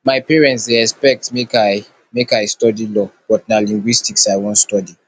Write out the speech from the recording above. my parents dey expect make i make i study law but na linguistics i wan study